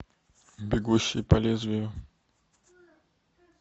бегущий по лезвию